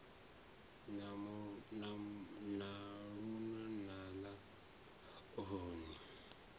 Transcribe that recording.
na luno na ḽa maonzeni